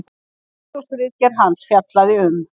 Doktorsritgerð hans fjallaði um